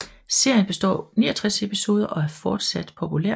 Serien består af 69 episoder og er fortsat populær